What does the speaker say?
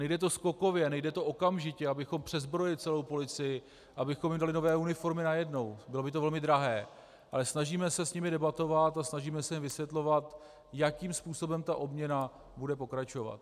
Nejde to skokově, nejde to okamžitě, abychom přezbrojili celou policii, abychom jí dali nové uniformy najednou, bylo by to velmi drahé, ale snažíme se s nimi debatovat a snažíme se jim vysvětlovat, jakým způsobem ta obměna bude pokračovat.